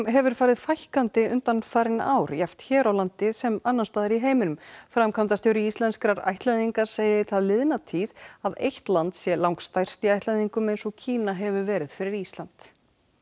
hefur farið fækkandi undanfarin ár jafnt hér á landi sem annars staðar í heiminum framkvæmdastjóri Íslenskrar ættleiðingar segir það liðna tíð að eitt land sé langstærst í ættleiðingum eins og Kína hefur verið fyrir Ísland